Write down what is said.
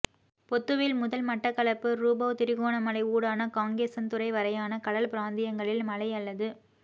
பொத்துவில் முதல் மட்டக்களப்புரூபவ் திருகோணமலை ஊடான காங்கேசன்துறை வரையான கடல் பிராந்தியங்களில் மழை அல்லது